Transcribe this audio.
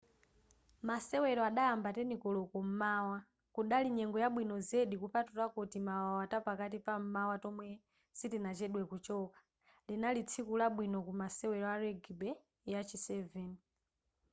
masewero adayamba 10:00 koloko m'mawa kunali nyengo yabwino zedi kupatulapo timawawa tapakati pam'mawa tomwe sitinachedwe kuchoka linali tsiku labwino ku masewero a rugby ya chi 7